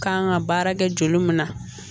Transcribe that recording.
Kan ka baara kɛ joli min na